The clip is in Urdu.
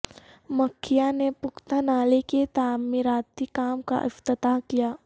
مکھیا نے پختہ نالے کے تعمیراتی کام کا افتتاح کیا